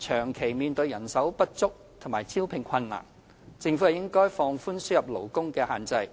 長期人手不足，面對招聘困難，政府應放寬輸入勞工的限制。